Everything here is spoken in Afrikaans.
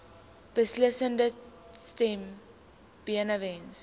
beslissende stem benewens